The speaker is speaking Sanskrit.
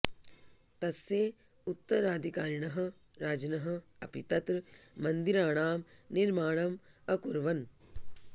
तस्य उत्तराधिकारिणः राजनः अपि तत्र मन्दिराणां निर्माणम् अकुर्वन्